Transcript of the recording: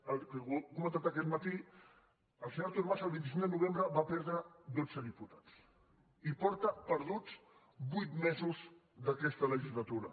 ho hem comentat aquest matí el senyor artur mas el vint cinc de novembre va perdre dotze diputats i porta perduts vuit mesos d’aquesta legislatura